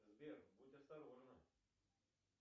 сбер будь осторожна